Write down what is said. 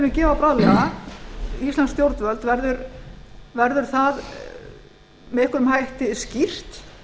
við munum gefa bráðlega íslensk stjórnvöld verður það með einhverjum hætti skýrt